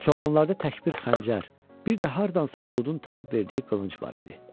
Çobanlarda tək bir xəncər, bir də hardansa Buludun tapıb verdiyi qılınc var idi.